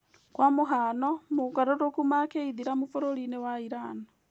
kwa mũhano, mogarũrũku ma kĩithĩramu bũrũri-inĩ wa Irani